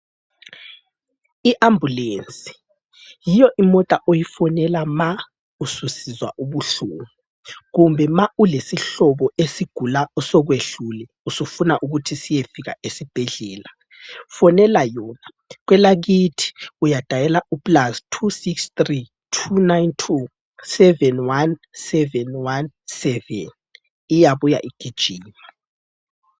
I ambulensi yiyo imota oyifonela ma ususizwa ubuhlungu kumbe ma ulesihlobo esigula osokwehlule usufuna ukuthi siyefika esibhedlela fonela yona, kwelakithi uyadayela u +26329271717 iyabuya igijima.